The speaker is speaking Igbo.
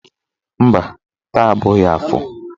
Mba, taa abụghị afọ.